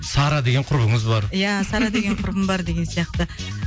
сара деген құрбыңыз бар иә сара деген құрбым бар деген сияқты